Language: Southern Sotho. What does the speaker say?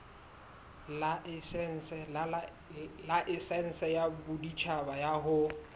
laesense ya boditjhaba ya ho